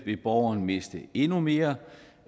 ville borgeren miste endnu mere